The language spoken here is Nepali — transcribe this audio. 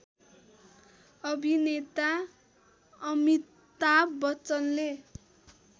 अभिनेता अमिताभ बच्चनले